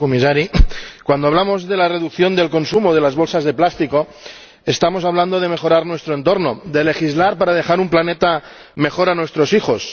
Señora Presidenta señor Comisario, cuando hablamos de la reducción del consumo de bolsas de plástico estamos hablando de mejorar nuestro entorno, de legislar para dejar un planeta mejor a nuestros hijos.